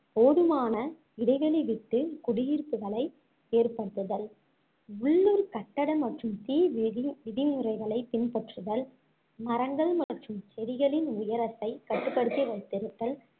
போதுமான இடைவெளி விட்டு குடியிருப்புகளை ஏற்படுத்துதல் உள்ளூர் கட்டட மற்றும் தீ விதி~ விதிமுறைகளைப் பின்பற்றுதல் மரங்கள் மற்றும் செடிகளின் உயரத்தைக் கட்டுப்படுத்தி வைத்திருத்தல்